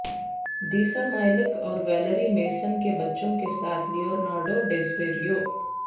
دیسا مایلک اور Valerie Mason کے بچوں کے ساتھ لیونارڈو ڈیسپریو